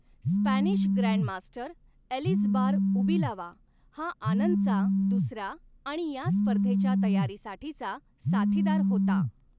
Spanish grandmaster Elizbar Ubilava हा आनंदचा दुसरा आणि या स्पर्धेच्या तयारीसाठीचा साथीदार होता.